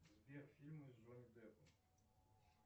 сбер фильмы с джонни деппом